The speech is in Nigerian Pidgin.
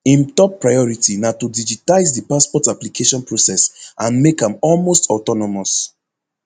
im top priority na to digitize di passport application process and make am almost autonomous